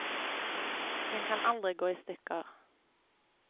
Den kan aldri gå i stykker.